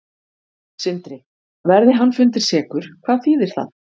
Sindri: Verði hann fundinn sekur, hvað þýðir það?